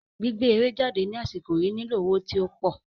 Gbígbé eré jáde ní àsìkò yìí nílò owó tí ópò